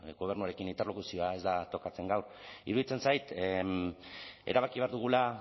gobernuarekin interlokuzioa ez da tokatzen gaur iruditzen zait erabaki behar dugula